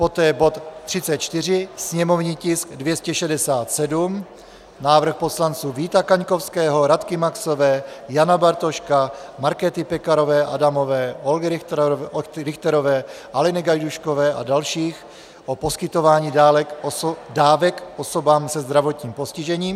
Poté bod 34, sněmovní tisk 267, návrh poslanců Víta Kaňkovského, Radky Maxové, Jana Bartoška, Markéty Pekarové Adamové, Olgy Richterové, Aleny Gajdůškové a dalších o poskytování dávek osobám se zdravotním postižením.